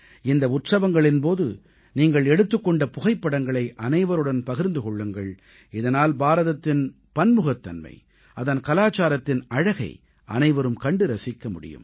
இந்த உற்சவங்களின் போது நீங்கள் எடுத்துக் கொண்ட புகைப்படங்களை அனைவருடன் பகிர்ந்து கொள்ளுங்கள் இதனால் பாரதத்தின் பன்முகத்தன்மை அதன் கலாச்சாரத்தின் அழகை அனைவரும் கண்டு ரசிக்க முடியும்